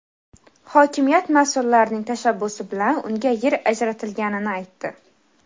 hokimiyat mas’ullarining tashabbusi bilan unga yer ajratilganini aytdi.